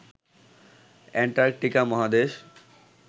Antarctica মহাদেশ